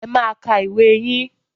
Ẹ máa ka ìwé yín